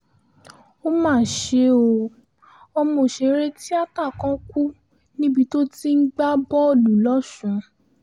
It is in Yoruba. ó mà ṣe o ọmọ òṣèré tíátà kan kú níbi tó ti ń gbá bọ́ọ̀lù lọ́sùn